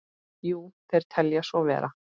Jú, þeir telja svo vera.